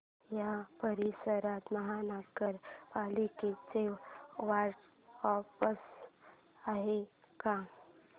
या परिसरात महानगर पालिकेचं वॉर्ड ऑफिस आहे का